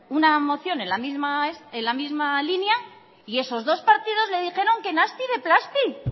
una moción en la misma línea y esos dos partidos le dijeron que nasti de plasti